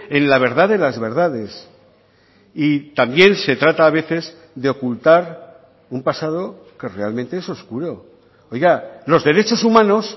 en la verdad de las verdades y también se trata a veces de ocultar un pasado que realmente es oscuro oiga los derechos humanos